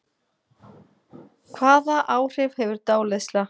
Hvaða áhrif hefur dáleiðsla?